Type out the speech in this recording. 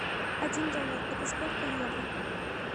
один доллар это сколько евро